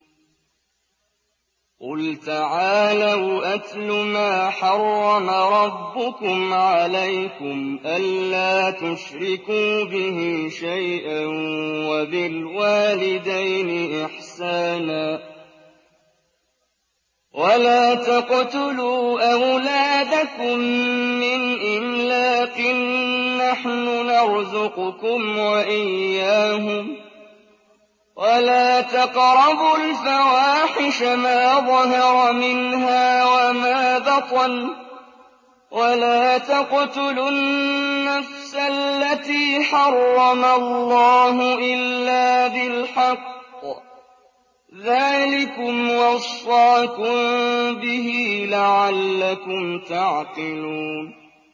۞ قُلْ تَعَالَوْا أَتْلُ مَا حَرَّمَ رَبُّكُمْ عَلَيْكُمْ ۖ أَلَّا تُشْرِكُوا بِهِ شَيْئًا ۖ وَبِالْوَالِدَيْنِ إِحْسَانًا ۖ وَلَا تَقْتُلُوا أَوْلَادَكُم مِّنْ إِمْلَاقٍ ۖ نَّحْنُ نَرْزُقُكُمْ وَإِيَّاهُمْ ۖ وَلَا تَقْرَبُوا الْفَوَاحِشَ مَا ظَهَرَ مِنْهَا وَمَا بَطَنَ ۖ وَلَا تَقْتُلُوا النَّفْسَ الَّتِي حَرَّمَ اللَّهُ إِلَّا بِالْحَقِّ ۚ ذَٰلِكُمْ وَصَّاكُم بِهِ لَعَلَّكُمْ تَعْقِلُونَ